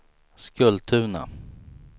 Skultuna